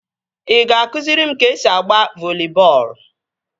Ị ga-akụziri m ka esi agba voli bọọlụ?